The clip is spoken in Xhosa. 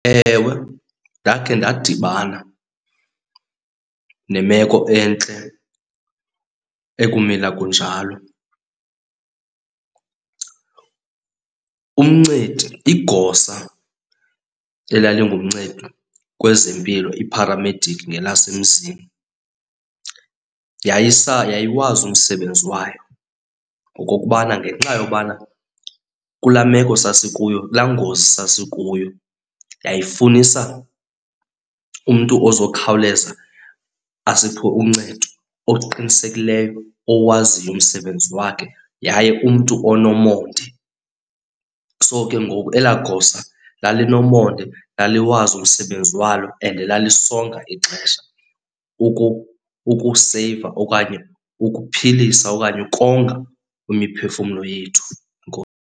Ewe, ndakhe ndadibana nemeko entle, ekumila kunjalo. Umncedi, igosa elalingumncedi kwezempilo, ipharamedikhi ngelasemzini yayisa, yayiwazi umsebenzi wayo. Ngokokubana ngenxa yobana kula meko sasikuyo, kulaa ngozi sasisikuyo yayifunisa umntu ozokhawuleza asiphe uncedo, oqinisekileyo, owaziyo umsebenzi wakhe yaye umntu onomonde. So ke ngoku elaa gosa lalinomonde, laliwazi umsebenzi walo and lalisonga ixesha ukuseyiva okanye ukuphilisa okanye ukonga imiphefumulo yethu .